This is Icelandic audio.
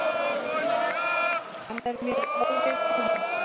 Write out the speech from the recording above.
Hann er mér óviðkomandi.